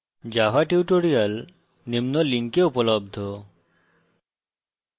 java tutorials নিম্ন link উপলব্ধ